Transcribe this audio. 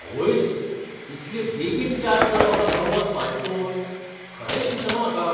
आवयस, इतले बेगीन चार्ज जालो हो नवो स्मार्टफोन? खरेंच दिसना म्हाका.